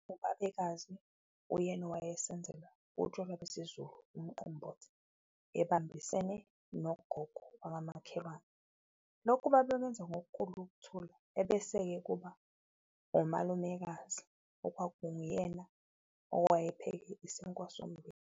Ubabekazi uyena owayesenzela utshwala besiZulu umqombothi ebambisene nogogo wakamakhelwane, lokhu babekwenza ngokukhulu ukuthula, ebese-ke kuba umalumekazi okwakuwuyena owayepheke isinkwa sommbila.